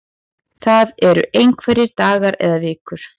Það eru einhverjir dagar eða vikur